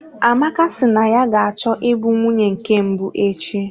Amaka si na ya ga-achọ ịbụ nwunye nke mbụ echi.